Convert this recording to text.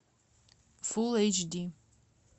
фулл эйч ди